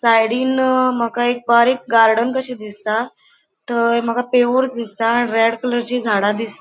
साइडीन माका एक बारीक गार्डन कशे दिसता थय माका दिसता आणि रेड कलरची झाडा दिस ----